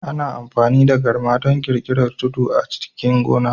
Ana amfani da garma don ƙirƙirar tudu a cikin gona